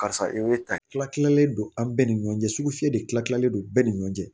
Karisa i bɛ ta tila tilalen don an bɛɛ ni ɲɔgɔn cɛ sugufiye de tilatilen don bɛɛ ni ɲɔgɔn cɛ